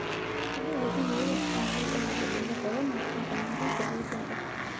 Kegira olkiye oyau olkirobi le korona aponari te uganda.